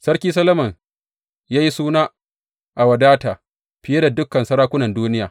Sarki Solomon ya yi suna a wadata fiye da dukan sarakunan duniya.